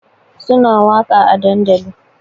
Suna waƙa a dandali